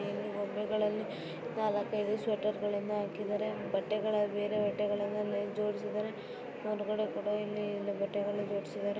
ಎಲ್ಲಿ ಗೊಂಬೆಗಳಲ್ಲಿ ನಾಲ್ಕು ಐದು ಸ್ವೆಟರ್ ಗಳನ್ನು ಹಾಕಿದ್ದಾರೆ ಬಟ್ಟೆಗಳನ್ನು ಬೇರೆ ಬಟ್ಟೆಗಳನ್ನು ಅಲ್ಲಿ ಜೋಡಿಸಿದ್ದಾರೆ ಹೊರಗಡೆ ಕೂಡ ಇಲ್ಲಿ ಬಟ್ಟೆಗಳನ್ನ ಜೋಡಿಸಿದ್ದಾರೆ.